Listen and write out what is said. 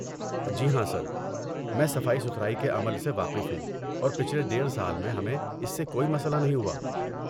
جی ہاں سر، میں صفائی ستھرائی کے عمل سے واقف ہوں اور پچھلے ڈیڈھ سال میں ہمیں اس سے کوئی مسئلہ نہیں ہوا